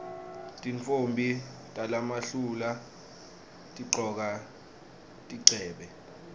tintfombi talamuhla tigcoka tigcebhe